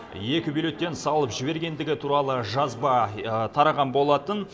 екі бюллетень салып жібергендігі туралы жазба тараған болатын